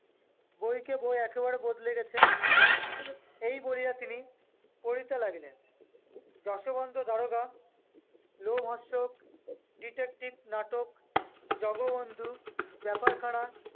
ব‍ইকে-বই একেবারে বদলে গেছে। এই বলিয়া তিনি পড়িতে লাগিলেন- যশোবন্ত দারোগা- লোমহর্ষক detective নাটক। জগবন্ধু ব্যাপারখানা-